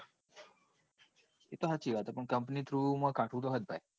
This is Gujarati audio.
તો સાચી વાત છે પણ company through કાઠું હે ભાઈ.